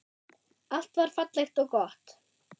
Allt var fallegt og gott.